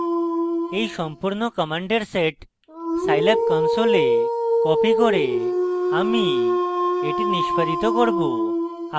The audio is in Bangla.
এই সম্পূর্ণ commands set scilab console copying করে আমি এটি নিস্পাদিত করব